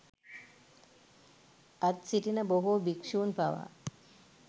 අද් සිටින බොහෝ භික්ෂූන් පවා